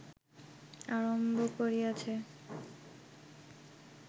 আরম্ভ করিয়াছে